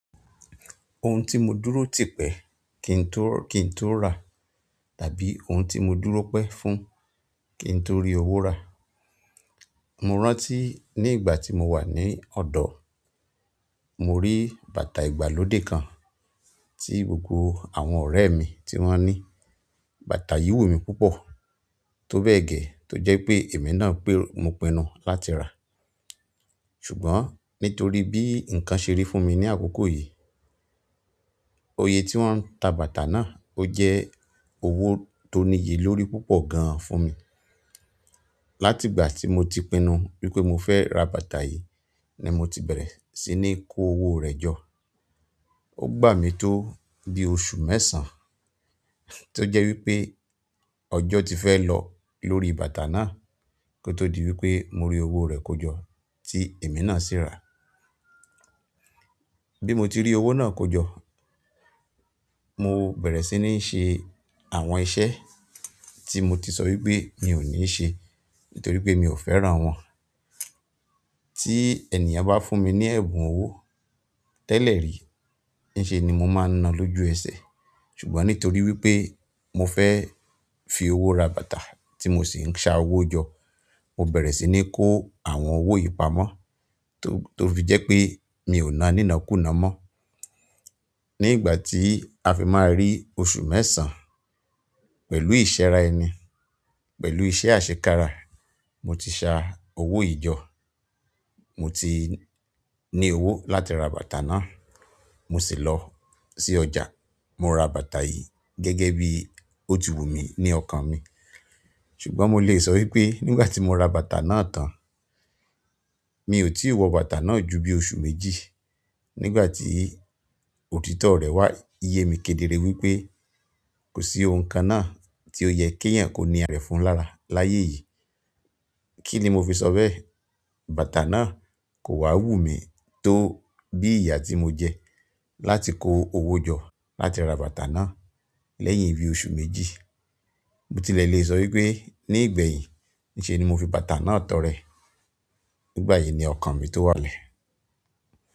Ohun tí mo dúró tìpẹ́ kí n tó, kí n tó rà, tàbí ohun tí mo dúró pẹ́ fún kí n tó rí owó rà. Mo rántí ní ìgbà tí mo wà ní ọ̀dọ̀, mo rí bàtà ìgbàlódé kan tí gbogbo àwọn ọ̀rẹ́ mi tí wọ́n ní. Bàtà yìí wù mí púpọ̀ tó bẹ́ẹ̀ gẹ́, tó jẹ́ pé èmi náà pé mo pinnu láti rà. Ṣùgbọ́n nítorí bí ǹkan ṣe rí fún mi ní àkókò yìí, oye tí wọ́n ń ta bàtà náà o jẹ́ owó tó níye lórí púpọ̀ gan fún mi. Látigbà tí mo ti pinnu wípé mo fẹ́ ra bàtà yìí ni mo ti bẹ̀rẹ̀ sí ní kó owó rẹ̀ jọ. Ó gbà mí tó bí oṣù mẹ́sàn-án, tó jẹ́ wípé ọjọ́ ti fẹ́ lọ lórí bàtà náà kí ó tó di wípé mo rí owó rẹ̀ kójọ tí èmi náà sì rà. Bí mo ti rí owó náà kójọ, mo bẹ̀rẹ̀ sí ní ṣe àwọn iṣẹ́ tí mo ti sọ wípé mi ò ní ṣe nítorí pé mi ò fẹ́ran wọn. Ti ènìyàn ba fún mi ni ẹ̀bùn owo tele ri nse ni mo maa n náà loju ese ṣùgbọ́n nítorí wípé mo fe fi owo ra bàtà ti mo si n sa owo jo, mo bere si nii ko àwọn owo yìí pamọ́ to to fi je pe mi o náà ninakunaa mo ní ìgbà tí a fi máa rí oṣù mẹ́sàn-án pẹ̀lú ìṣera ẹni, pẹ̀lú iṣẹ́ àṣekára, mo ti ṣá owó yìí jọ. Mo ti ní owó láti ra bàtà náà. Mo sì lọ sí ọjà, mo ra bàtà yìí gẹ́gẹ́ bí ó ti wù mí ní ọkàn mi. Ṣùgbọ́n mo le so wípé nígbà ti mo ra bàtà náà tan, mi o tii wo bàtà náà ju bíi oṣù méjì, nígbà ti òtítọ́ re wa ye mi kedere wípé kò sí ohun kan náà tí ó yẹ kí èèyàn kó ni àra e fún lára láyé yìí. Kí ni mo fi sọ bẹ́ẹ̀? Bàtà náà kò wá wù mí tó bí ìyà tí mo jẹ láti kó owó jọ láti ra bàtà náà lẹ́yìn bí i oṣù méjì. Mo tilẹ̀ lè sọ wípé ní ìgbẹ̀yìí ní ṣe ni mo fi bàtà náà tọrẹ. Nígbà yìí ni ọkàn mi tó wà lẹ̀.